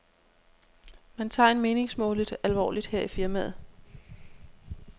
Man tager en meningsmåling alvorligt her i firmaet.